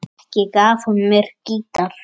Ekki gaf hún mér gítar.